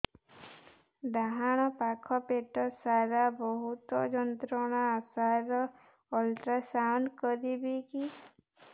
ଡାହାଣ ପାଖ ପେଟ ସାର ବହୁତ ଯନ୍ତ୍ରଣା ସାର ଅଲଟ୍ରାସାଉଣ୍ଡ କରିବି କି